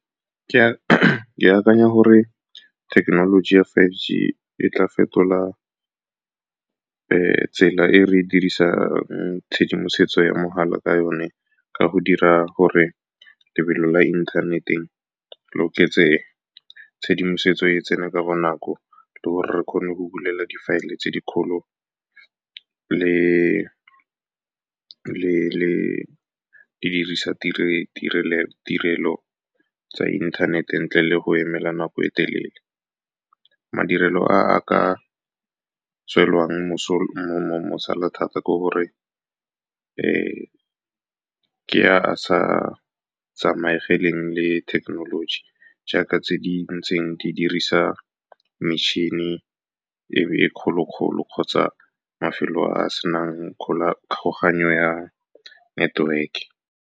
Ke akanya gore thekenoloji ya five g e tla fetola tsela e re dirisa tshedimosetso ya mogala ka yone, ka go dira gore lebelo la inthanete le oketse, tshedimosetso e tsene ka bonako, le gore re kgone go bulela di file-e tse di kgolo le di dirisa tirelo tsa inthanete ntle le go emela nako e telele. Madirelo a a ka tswelang mosola thata ke gore ke a sa tsamaegeleng le thekenoloji jaaka tse di ntseng di dirisa metšhini e e kgolo-kgolo kgotsa mafelo a senang ya network-e.